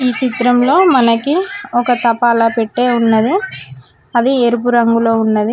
చిత్రంలో మనకి ఒక తపాలా పెట్టే ఉన్నది అది ఎరుపు రంగులో ఉన్నది.